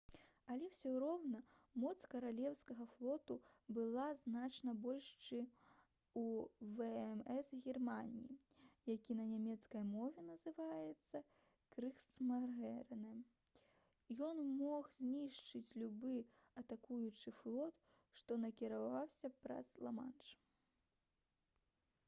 але ўсё роўна моц каралеўскага флоту была значна больш чым у вмс германіі які на нямецкай мове называецца «крыгсмарынэ»: ён мог знішчыць любы атакуючы флот што накіроўваўся праз ла-манш